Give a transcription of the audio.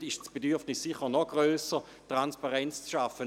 Hier ist das Bedürfnis sicher noch grösser, Transparenz zu schaffen.